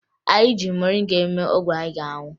Anyị ji moringa eme ọgwụ anyị ga-aṅụ